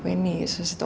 inni í